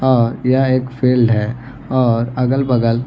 अ यह एक फील्ड है अ अगल बगल --